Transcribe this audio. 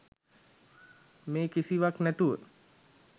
මේ කිසිවක් නැතුව